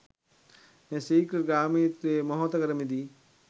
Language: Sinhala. මේ ශීඝ්‍ර ගාමීත්වයෙන් මොහොතකට මිදී